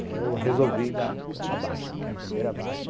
Aí eu resolvi dar a baixa, que é a primeira baixa.